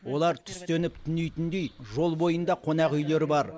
олар түстеніп түнейтіндей жол бойында қонақүйлер бар